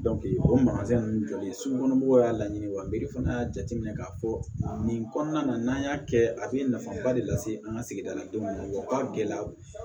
o ninnu jɔlen ye sugu kɔnɔ mɔgɔw y'a laɲini wa e fana y'a jateminɛ k'a fɔ nin kɔnɔna na n'an y'a kɛ a bɛ nafaba de lase an ka sigida la denw ma wa u ka gɛlɛyaw